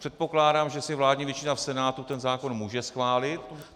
Předpokládám, že si vládní většina v Senátu ten zákon může schválit.